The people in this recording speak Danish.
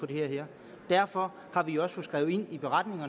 det her derfor har vi også fået skrevet ind i